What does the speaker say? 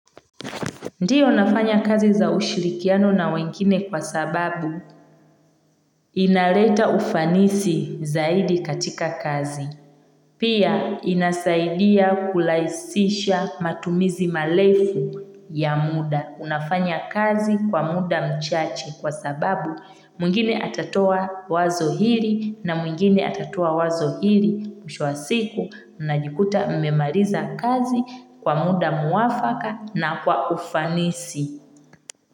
Ndiyo nafanya kazi za ushirikiano na wengine kwa sababu inaleta ufanisi zaidi katika kazi. Pia inasaidia kurahisisha matumizi marefu ya muda. Unafanya kazi kwa muda mchache kwa sababu mwingine atatoa wazo hili na mwingine atatoa wazo hili. Mwisho wa siku mnajikuta mmemaliza kazi kwa muda mwafaka na kwa ufanisi.